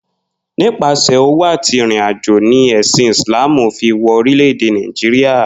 Nípasè̩ òwò àti ìrìnàjò ni è̩sìn Ìsláàmù fi wo̩ orílè̩-èdè Nàìjíríà